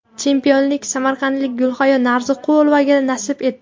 Chempionlik samarqandlik Gulhayo Narziqulovaga nasib etdi.